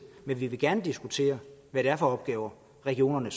men vi vil gerne diskutere hvad det er for opgaver regionerne